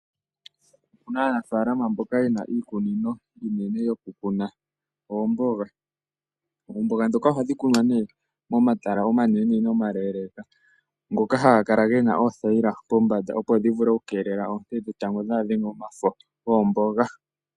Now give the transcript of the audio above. Aanafaalama mboka yena iikunino iinene yokukuna oomboga. Oomboga ohadhi kunwa momatala omanene nene omaleeleka, ngoka haga kala gena pothayila kombanda opo dhivule okukeelela oonte dhetango dhaadhenge omafo goomboga.